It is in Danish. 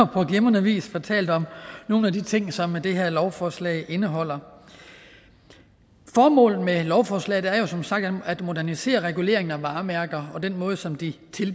på glimrende vis fortalt om nogle af de ting som det her lovforslag indeholder formålet med lovforslaget er jo som sagt at modernisere reguleringen af varemærker og den måde som de